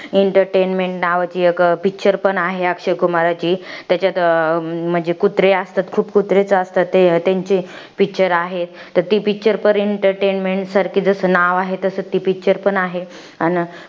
Entertainment नावाची एक picture पण आहे अक्षय कुमारची. त्याच्यात म्हणजे कुत्रे असतात. खूप कुत्रेच असतात, त्यांची picture आहे. तर ती picture पण entertainment सारखी जसं नाव आहे तसं ती picture पण आहे. अन,